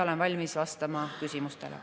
Olen valmis vastama küsimustele.